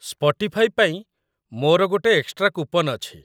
Spotify ପାଇଁ ମୋର ଗୋଟେ ଏକ୍ସଟ୍ରା କୁପନ୍ ଅଛି।